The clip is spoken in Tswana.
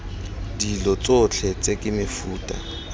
dilo tsotlhe tse ke mefuta